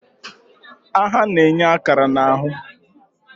Agha na-enye akara na ahụ.